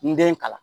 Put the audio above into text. N den kalan